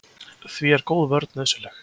Því er góð vörn nauðsynleg.